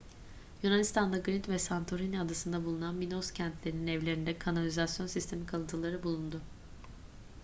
yunanistan'da girit ve santorini adasında bulunan minos kentlerinin evlerinde kanalizasyon sistemi kalıntıları bulundu